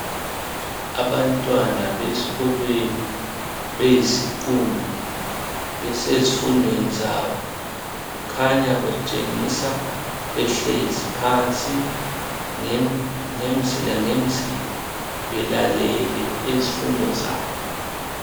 Abantwana besikolweni beyisiqumbi besezifundweni zabo kukhanya batshengiswa behlezi phansi ngemzila ngemzila belalele izifundo zabo.